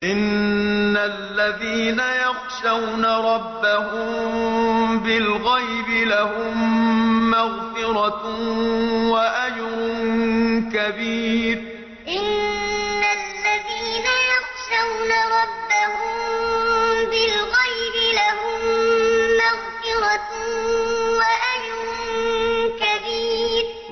إِنَّ الَّذِينَ يَخْشَوْنَ رَبَّهُم بِالْغَيْبِ لَهُم مَّغْفِرَةٌ وَأَجْرٌ كَبِيرٌ إِنَّ الَّذِينَ يَخْشَوْنَ رَبَّهُم بِالْغَيْبِ لَهُم مَّغْفِرَةٌ وَأَجْرٌ كَبِيرٌ